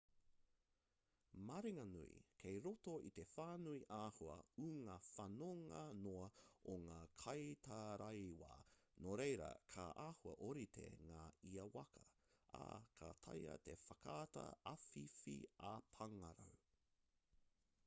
maringanui kei roto i te whānui āhua ū ngā whanonga noa o ngā kaitaraiwa nō reira ka āhua ōrite ngā ia waka ā ka taea te whakaata āwhiwhi ā-pāngarau